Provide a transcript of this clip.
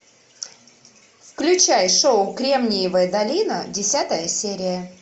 включай шоу кремниевая долина десятая серия